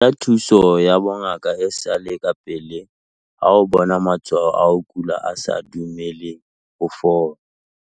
Batla thuso ya bongaka e sa le kapele ha o bona matshwao a ho kula a sa dumeleng ho fola.